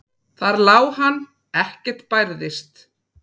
Þar lá hann, ekkert bærðist.